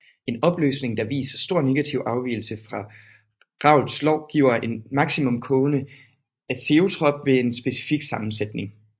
En opløsning der viser stor negativ afvigelse fra Raoults lov giver en maksimum kogende azeotrop ved en specifik sammensætning